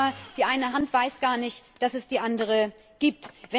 Oder noch schlimmer Die eine Hand weiß gar nicht, dass es die andere gibt.